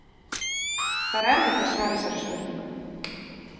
Það er erfitt að svara þessari spurningu.